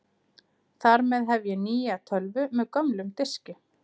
Þar með hef ég nýja tölvu með gömlum diski.